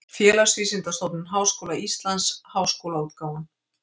Félagsvísindastofnun Háskóla Íslands: Háskólaútgáfan.